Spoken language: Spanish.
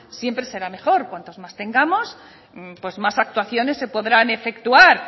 siempre será mejor cuantos más tengamos pues más actuaciones se podrán efectuar